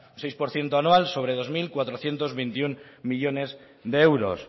seis por ciento anual sobre dos mil cuatrocientos veintiuno millónes de euros